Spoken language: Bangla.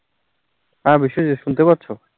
হাঁ বিশ্বজিত শুনতে পারছো?